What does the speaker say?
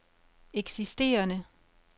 eksisterende